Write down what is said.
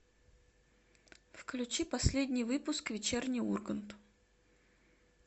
включи последний выпуск вечерний ургант